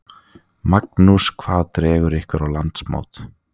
Magnús: Hvað dregur ykkur á landsmót?